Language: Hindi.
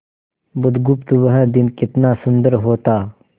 बुधगुप्त वह दिन कितना सुंदर होता